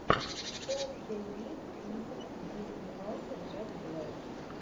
что у тебя есть из где снимался джек блэк